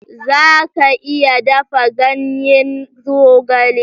Za ka iya dafa ganyen zogale?